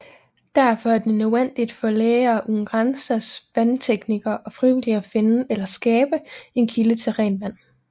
Derfor er det nødvendigt for Læger uden Grænsers vandteknikere og frivillige at finde eller skabe en kilde til rent vand